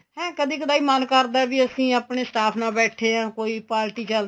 ਹੈ ਕਦੀ ਕਦਾਈ ਮਨ ਕਰਦਾ ਵੀ ਅਸੀਂ ਆਪਣੇ staff ਨਾਲ ਬੈਠੇ ਆ ਕੋਈ party ਚੱਲਦੀ